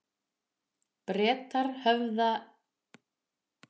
Bretar höfðu nú tekið alla, sem á skipinu voru, til fanga, alls